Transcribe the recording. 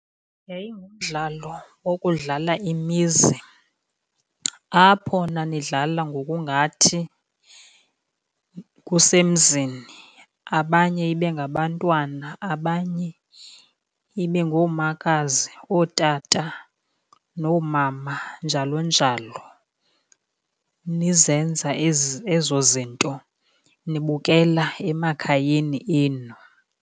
Yayingumdlalo wokudlala imizi apho nanidlala ngokungathi kusemzini, abanye ibe ngabantwana abanye ibe ngoomakazi, ootata noomama njalo njalo. Nizenza ezo zinto nibukela emakhayeni enu.